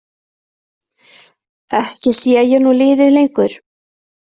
Ekki sé ég nú liðið lengur.